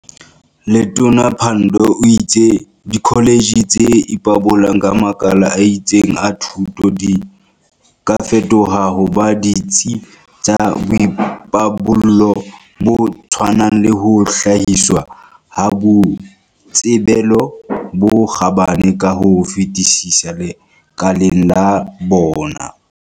Letona Pandor o itse dikho letjhe tse ipabolang ka makala a itseng a thuto di ka fetoha ho ba ditsi tsa boipabollo bo tshwanang le ho hlahiswa ha boitsebelo bo kgabane ka ho fetisisa lekaleng la bona.